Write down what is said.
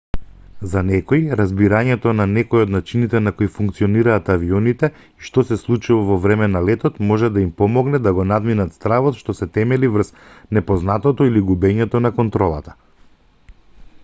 за некои разбирањето на некој од начините на кои функционираат авионите и што се случува за време на летот може да им помогне да го надминат стравот што се темели врз непознатото или губењето на контролата